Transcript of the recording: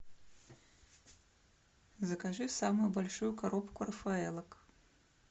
закажи самую большую коробку рафаэллок